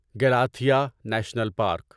Galathea national park